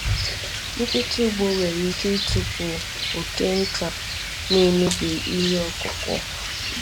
Nkịta ugbo nwere ike ịtụpụ oke nta na-emebi ihe ọkụkụ.